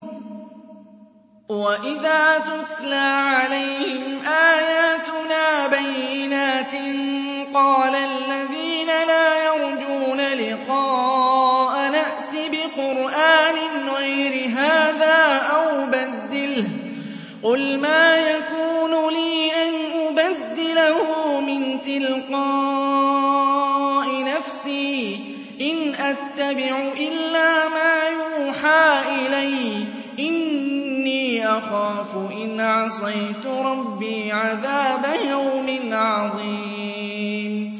وَإِذَا تُتْلَىٰ عَلَيْهِمْ آيَاتُنَا بَيِّنَاتٍ ۙ قَالَ الَّذِينَ لَا يَرْجُونَ لِقَاءَنَا ائْتِ بِقُرْآنٍ غَيْرِ هَٰذَا أَوْ بَدِّلْهُ ۚ قُلْ مَا يَكُونُ لِي أَنْ أُبَدِّلَهُ مِن تِلْقَاءِ نَفْسِي ۖ إِنْ أَتَّبِعُ إِلَّا مَا يُوحَىٰ إِلَيَّ ۖ إِنِّي أَخَافُ إِنْ عَصَيْتُ رَبِّي عَذَابَ يَوْمٍ عَظِيمٍ